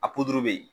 A bɛ yen